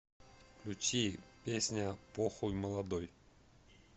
включи песня похуй молодой